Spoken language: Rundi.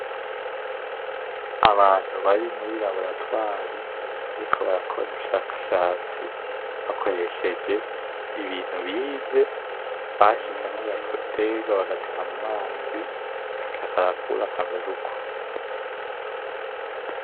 Abantu bari muri laboratwari bariko barakora ubushakashatsi bakoresheje ibintu bize. Bashizemwo agaterwa bagatera mumazi, gaca karakura kamera uko.